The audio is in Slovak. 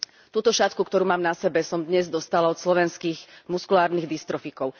Túto šatku, ktorú mám na sebe, som dnes dostala od slovenských muskulárnych distrofikov.